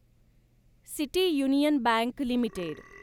city union bank limited